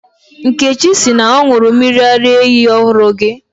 Nkechi sị na ọ ṅụrụ mmiri ara ehi ọhụrụ gị